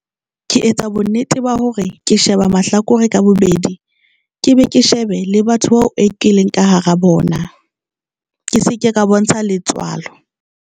Ke etsa bonnete ba hore ke sheba mahlakore ka bobedi, ke be ke shebe le batho bao e ke leng ka hara bona, ke se ke ka bontsha letswalo.